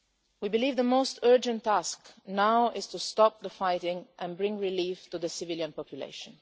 We believe the most urgent task now is to stop the fighting and bring relief to the civilian population.